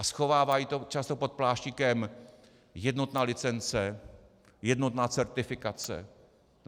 A schovávají to často pod pláštíkem jednotná licence, jednotná certifikace.